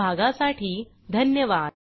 सहभागासाठी धन्यवाद